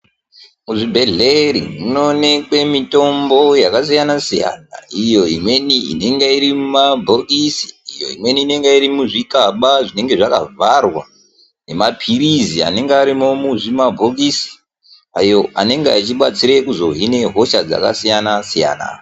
Muzvibhedhlera munoonekwe mitombo yakasiyana -siyana iyo imweni inenge iri mumabhokisi iyo imweni inenge iri muzvikaba zvinenge zvakavharwa nemaphirizi anenge arimo muzvimabhokisi ayo anenge achibatsire kuzohina hosha dzakasiyana-siyana.